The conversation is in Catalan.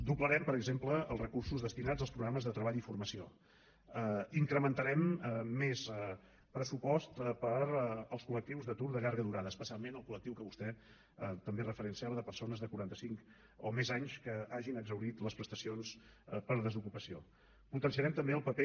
doblarem per exemple els recursos destinats als programes de treball i formació incrementarem el pressupost per als colde llarga durada especialment el coltambé referenciava de persones de quaranta cinc o més anys que hagin exhaurit les prestacions per desocupació potenciarem també el paper